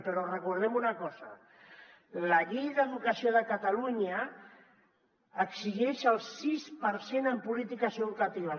però recordem una cosa la llei d’educació de catalunya exigeix el sis per cent en polítiques educatives